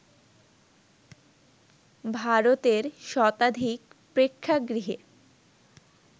ভারতের শতাধিক প্রেক্ষাগৃহে